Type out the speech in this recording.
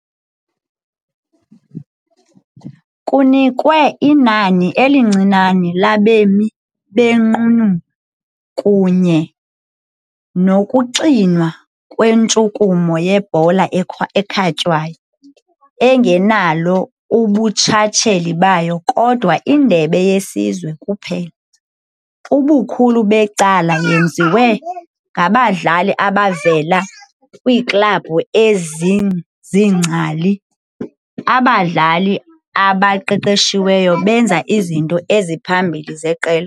Kunikwe inani elincinane labemi benqununu kunye nokuxinwa kwentshukumo yebhola ekhatywayo, engenalo ubuntshatsheli bayo, kodwa indebe yesizwe kuphela, ubukhulu becala yenziwe ngabadlali abavela kwiiklabhu eziziingcali, abadlali abaqeqeshiweyo benza izinto eziphambili zeqela.